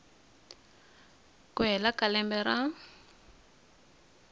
ku hela ka lembe ra